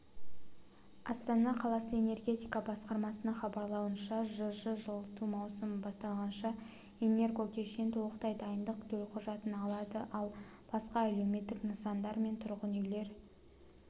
астана қаласы энергетика басқармасының хабарлауынша жж жылыту маусымы басталғанша энергокешен толықтай дайындық төлқұжатын алады ал басқа әлеуметтік нысандар мен тұрғын үйлер